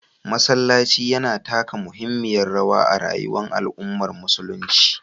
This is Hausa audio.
Masallaci yana taka muhimmiyar rawa a rayuwar al’ummar musulunci.